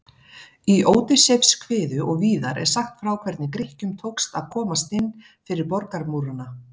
Í Ódysseifskviðu og víðar er sagt frá hvernig Grikkjum tókst að komast inn fyrir borgarmúrana.